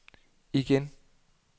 igen